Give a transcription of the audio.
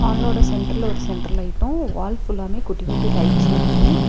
வாலோட சென்டர்ல ஒரு centre light wall ஃபுல்லாமே குட்டி குட்டி லைட்ஸ்ஸு இருக்கு.